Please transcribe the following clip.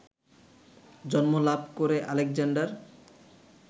জন্ম লাভ করে আলেকজান্ডার